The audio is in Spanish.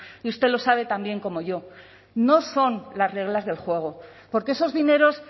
y usted lo sabe tan bien como yo no son las reglas del juego porque esos dineros